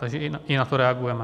Takže i na to reagujeme.